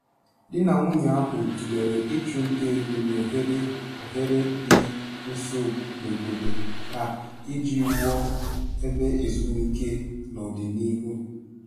Di na nwunye ahụ tụlere ịchụ nta ego n'ohere oghere dị nso n'obodo ha iji wuo ebe ezumike n'ọdịnihu.